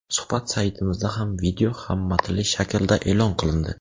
Suhbat saytimizda ham video va matnli shaklda e’lon qilindi .